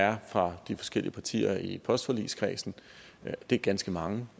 er fra de forskellige partier i postforligskredsen det er ganske mange